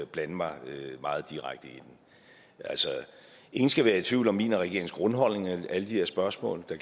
blande mig meget direkte i ingen skal være i tvivl om mine og regeringens grundholdninger i alle de her spørgsmål der